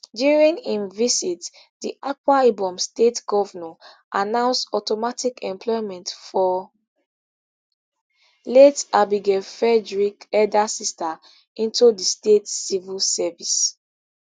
during im visit di akwa ibom state govnor announce automatic employment for late abigail frederick elder sister into di state civil service